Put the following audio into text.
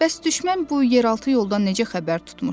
Bəs düşmən bu yeraltı yoldan necə xəbər tutmuşdu?